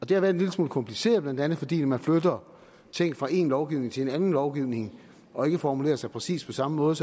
det har været en lille smule kompliceret blandt andet fordi man flytter ting fra en lovgivning til en anden lovgivning og ikke formulerer sig præcis på samme måde